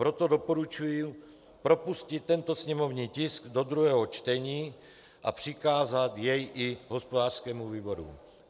Proto doporučuji propustit tento sněmovní tisk do druhého čtení a přikázat jej i hospodářskému výboru.